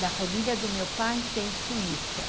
Da família do meu pai tem Suíça.